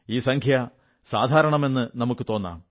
ഈ സംഖ്യ സാധാരണമെന്നു നമുക്കു തോന്നാം